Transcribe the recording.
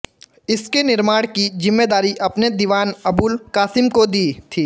इसके निर्माण की ज़िम्मेदारी अपने दीवान अबुल क़ासिम को दी थी